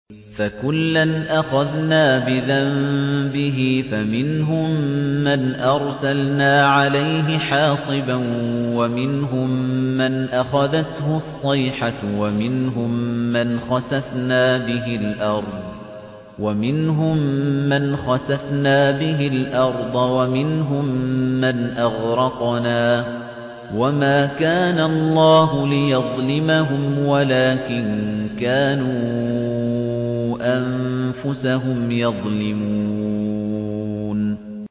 فَكُلًّا أَخَذْنَا بِذَنبِهِ ۖ فَمِنْهُم مَّنْ أَرْسَلْنَا عَلَيْهِ حَاصِبًا وَمِنْهُم مَّنْ أَخَذَتْهُ الصَّيْحَةُ وَمِنْهُم مَّنْ خَسَفْنَا بِهِ الْأَرْضَ وَمِنْهُم مَّنْ أَغْرَقْنَا ۚ وَمَا كَانَ اللَّهُ لِيَظْلِمَهُمْ وَلَٰكِن كَانُوا أَنفُسَهُمْ يَظْلِمُونَ